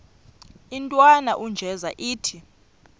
intwana unjeza ithi